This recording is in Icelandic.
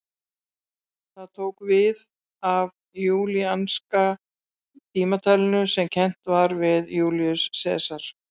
Það tók við af júlíanska tímatalinu sem kennt var við Júlíus Sesar.